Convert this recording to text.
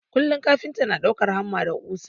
Kullum kafinta na ɗaukan hamma da ƙusa.